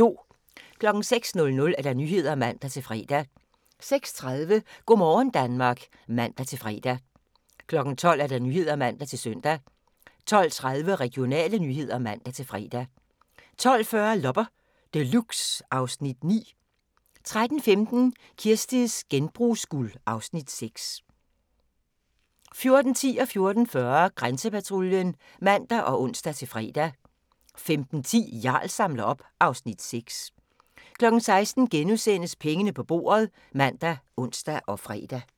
06:00: Nyhederne (man-fre) 06:30: Go' morgen Danmark (man-fre) 12:00: Nyhederne (man-søn) 12:30: Regionale nyheder (man-fre) 12:40: Loppe Deluxe (Afs. 9) 13:15: Kirsties genbrugsguld (Afs. 6) 14:10: Grænsepatruljen (man og ons-fre) 14:40: Grænsepatruljen (man og ons-fre) 15:10: Jarl samler op (Afs. 6) 16:00: Pengene på bordet *( man, ons, fre)